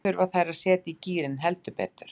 Nú þurfa þær að setja í gírinn, heldur betur.